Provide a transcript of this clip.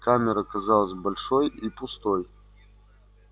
камера казалась большой и пустой